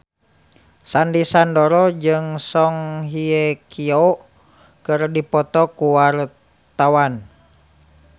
Sandy Sandoro jeung Song Hye Kyo keur dipoto ku wartawan